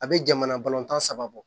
A bɛ jamana balontan saba bɔ